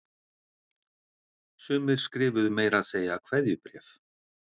Sumir skrifuðu meira að segja kveðjubréf